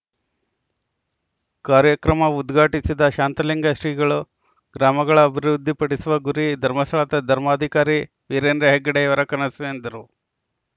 ಕಾರ್ಯಕ್ರಮ ಉದ್ಘಾಟಿಸಿದ ಶಾಂತಲಿಂಗ ಶ್ರೀಗಳು ಗ್ರಾಮಗಳ ಅಭಿವೃದ್ಧಿ ಪಡಿಸುವ ಗುರಿ ಧರ್ಮಸ್ಥಳದ ಧರ್ಮಾಧಿಕಾರಿ ವೀರೇಂದ್ರಹೆಗ್ಗಡೆಯವರ ಕನಸು ಎಂದರು